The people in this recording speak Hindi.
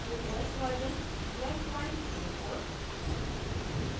* ubuntu os version 1204